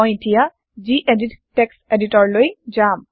মই এতিয়া যিএদিত টেক্সট এডিটৰ লৈ যাম